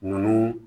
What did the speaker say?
Nunnu